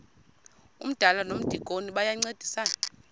umdala nomdikoni bayancedisana